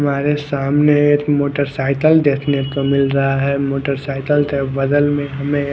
हमारे सामने एक मोटरसाइकिल देखने को मिल रहा है मोटरसाइकिल के बगल में हमे एक--